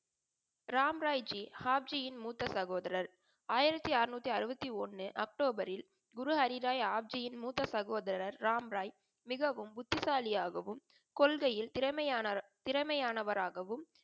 ராம்ராயிஜி ஹாப்ஜியின் மூத்த சகோதரர். ஆயிரத்தி ஆறநூற்றி அறுபத்தி ஒன்று அக்டோபரில் குரு ஹரிறாய் ஹாப்ஜியின் மூத்த சகோதரர் ராம்ராய் மிகவும் புத்திசாலியாகவும் கொள்கையில் திறமையானவர் திறமையானவரகாவும்